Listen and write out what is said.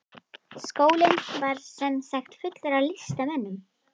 Skólinn var sem sagt fullur af listamönnum.